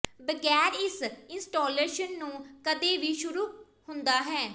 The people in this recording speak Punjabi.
ਬਗੈਰ ਇਸ ਇੰਸਟਾਲੇਸ਼ਨ ਨੂੰ ਕਦੇ ਵੀ ਸ਼ੁਰੂ ਹੁੰਦਾ ਹੈ